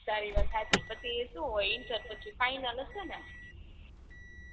તારી વાત સાચી પછી સુ હોય ઇન્ટર પછી ફાઇનલ જ સે ને